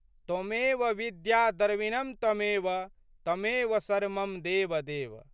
त्वमेव विद्या द्रविणं त्वमेव त्वमेव सर्वं मम देव देव।